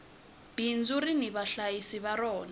bindzu rini vahlayisi va rona